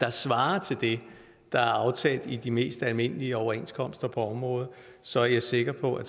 der svarer til det der er aftalt i de mest almindelige overenskomster på området så er jeg sikker på at